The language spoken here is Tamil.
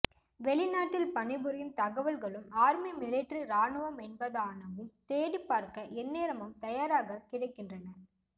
வெளிநாட்டில் பணிபுரியும் தகவல்களும் ஆர்மி மிலிட்டரி ராணுவம் என்பதானவும் தேடிப் பார்க்க எந்நேரமும் தயாராக கிடைக்கின்றன